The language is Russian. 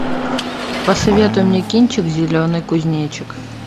посоветуй мне кинчик зеленый кузнечик